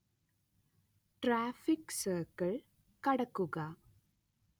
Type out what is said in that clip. traffic circle കടക്കുക